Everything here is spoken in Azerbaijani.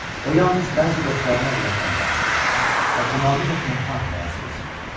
o yalnız bəzi dostlarına ürəkdən bağlı idi və tamamilə tənha həyat keçirirdi.